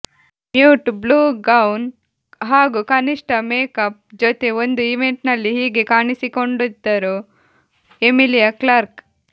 mute blue gown ಹಾಗೂ ಕನಿಷ್ಠ makeup ಜೊತೆ ಒಂದು ಇವೆಂಟ್ನಲ್ಲಿ ಹೀಗೆ ಕಾಣಿಸಿಕೊಂಡಿದ್ದರು ಎಮಿಲಿಯಾ ಕ್ಲಾರ್ಕ್